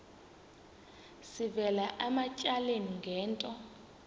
sivela ematyaleni ngento